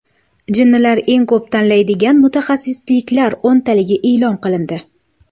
Jinnilar eng ko‘p tanlaydigan mutaxassisliklar o‘ntaligi e’lon qilindi.